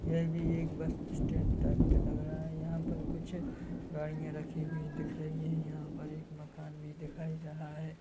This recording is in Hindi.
यह भी एक बस स्टेंड टाइप का लग रहा हैं यहाँ पर कुछ गाड़िया रखी हुई दिख रही हैं यहाँ पर एक मकान भी दिखाई रहा हैं।